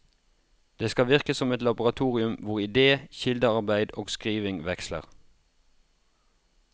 Det skal virke som et laboratorium hvor ide, kildearbeid og skriving veksler.